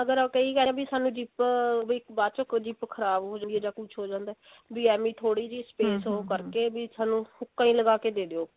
ਅਗਰ ਉਹ ਕਈ ਕਹਿ ਰਹੇ ਵੀ ਸਾਨੂੰ zip ਅਹ ਵੀ ਬਾਅਦ ਚੋ zip ਖ਼ਰਾਬ ਹੋ ਜਾਂਦੀ ਹੈ ਜਾ ਕੁੱਛ ਹੋ ਜਾਂਦਾ ਹੈ ਵੀ ਐਵੇਂ ਥੋੜੀ ਜੀ space ਉਹ ਕਰਕੇ ਵੀ ਸਾਨੂੰ ਹੂਕਾਂ ਹੀ ਲਗਾ ਕੇ ਦੇ ਦਿਓ